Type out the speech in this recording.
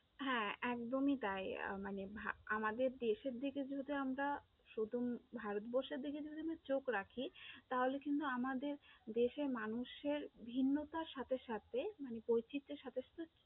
হ্যাঁ, একদমই তাই আহ মানে আমাদের দেশের দিকে যদি আমরা, প্রথম ভারতবর্ষের দিকে যদি আমরা চোখ রাখি, তাহলে কিন্তু আমাদের দেশের মানুষের ভিন্নতার সাথে সাথে বৈচিত্র্যের সাথে সাথে